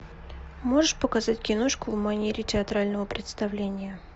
можешь показать киношку в манере театрального представления